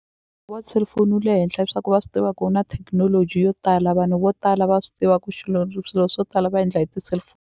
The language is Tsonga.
Wa ti-cellphone wu le henhla hi swa ku va swi tiva ku wu na thekinoloji yo tala vanhu vo tala va swi tiva ku swilo swo tala va endla hi ti .